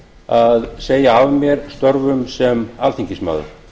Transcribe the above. að segja af mér störfum sem alþingismaður